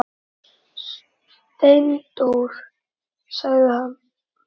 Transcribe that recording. Steindór sagði: Ha?